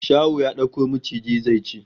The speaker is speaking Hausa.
Shaho ya dauko maciji zai ci